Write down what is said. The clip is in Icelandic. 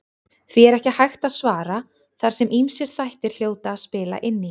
Því er ekki hægt að svara þar sem ýmsir þættir hljóta að spila inn í.